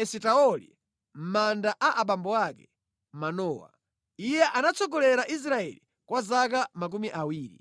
Esitaoli mʼmanda a abambo ake, Manowa. Iye anatsogolera Israeli kwa zaka makumi awiri.